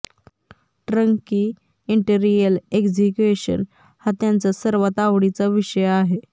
ट्रकी interior execution हा त्यांचा सर्वात आवडीचा विषय आहे